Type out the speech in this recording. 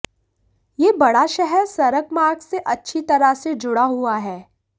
यह बड़ा शहर सड़क मार्ग से अच्छी तरह से जुड़ा हुआ है